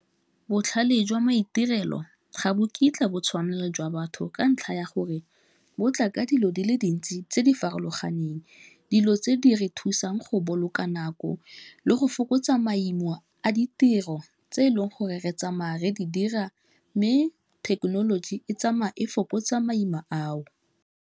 Botlhale jwa maitirelo ga bo kitla bo tshwanelo jwa batho ka ntlha ya gore, bo tla ka dilo di le dintsi tse di farologaneng dilo tse di re thusang go boloka nako, le go fokotsa maimo a ditiro tse eleng gore re tsamaya re di dira mme thekenoloji e tsamaya e fokotsa maima ao.